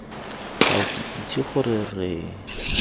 ga ke itse gore re